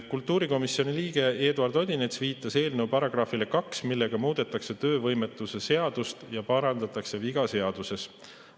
Kultuurikomisjoni liige Eduard Odinets viitas eelnõu §‑le 2, millega muudetakse töövõimetoetuse seadust ja parandatakse viga seaduses.